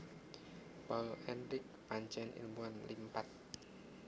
Paul Ehrlich pancen ilmuwan limpad